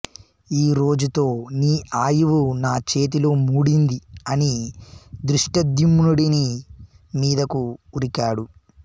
ఈరోజుతో నీ ఆయువు నా చేతిలో మూడింది అని ధృష్టద్యుమ్నుడి మీదకు ఉరికాడు